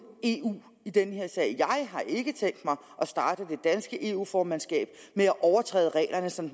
eu i den her sag jeg har ikke tænkt mig at starte det danske eu formandskab med at overtræde reglerne som